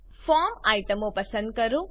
form આઈટમો પસંદ કરો